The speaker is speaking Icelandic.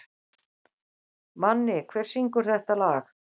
Manni, hver syngur þetta lag?